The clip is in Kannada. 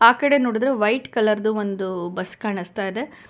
ಆ ಕಡೆ ನೋಡುದ್ರೆ ವೈಟ್ ಕಲರ್ ದು ಒಂದು ಬಸ್ ಕಾಣಿಸ್ತಾ ಇದೆ.